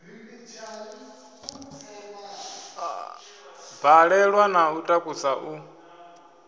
balelwa na u takusa u